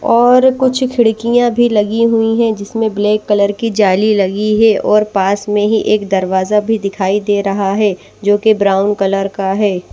और कुछ खिड़कियां भी लगी हुई है जिसमें ब्लैक कलर की जाली लगी है और पास में ही एक दरवाजा भी दिखाई दे रहा है जोकि ब्राउन कलर का है।